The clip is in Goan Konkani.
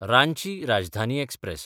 रांची राजधानी एक्सप्रॅस